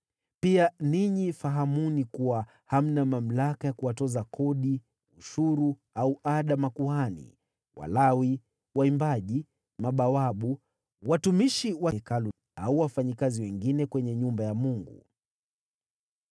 Pia ninyi fahamuni kuwa hamna mamlaka ya kuwatoza kodi, ushuru au ada makuhani, Walawi, waimbaji, mabawabu, watumishi wa Hekalu au wafanyakazi wengine kwenye nyumba ya Mungu.